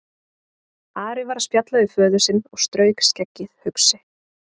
Ari var að spjalla við föður sinn og strauk skeggið hugsi.